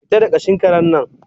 fita da kashin karen nan